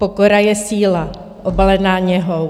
Pokora je síla obalená něhou.